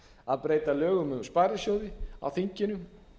að breyta lögum um sparisjóði á þinginu